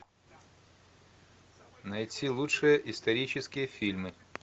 найти лучшие исторические фильмы